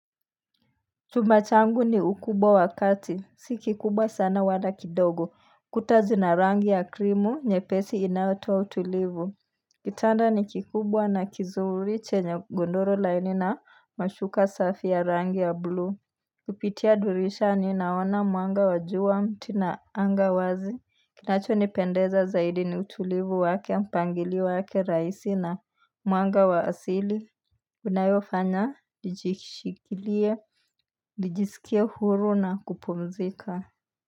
Chumba changu ni ukubwa wa kati, si kikubwa sana wala kidogo, kuta zina rangi ya krimu, nyepesi inayotoa utulivu. Kitanda ni kikubwa na kizuri chenye gondoro laini na mashuka safi ya rangi ya blue. Kupitia dirishani naona mwanga wa jua, miti na anga wazi. Kinachonipendeza zaidi ni utulivu wake, mpangilio wake rahisi na mwanga wa asili. Unayofanya nijishikilie, nijisikie huru na kupumzika.